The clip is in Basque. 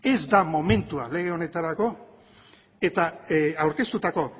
ez da momentua lege honetarako eta aurkeztutako